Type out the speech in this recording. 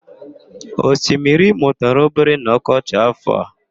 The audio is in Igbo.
Osimiri Imo tara obere n'ọkọchị áfọ̀ a.